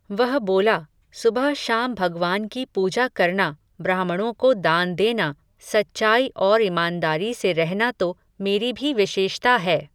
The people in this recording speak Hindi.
वह बोला, सुबह शाम भगवान की पूजा करना ब्राह्मणों को दान देना, सच्चाई और ईमानदारी से रहना तो मेरी भी विशेषता है.